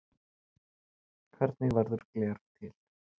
Hvernig verður gler til?